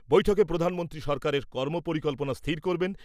বৈঠকে প্রধানমন্ত্রী সরকারের কর্ম পরিকল্পনা স্থির করবেন ।